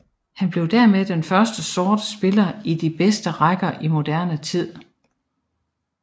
Han blev dermed den første sorte spiller i de bedste rækker i moderne tid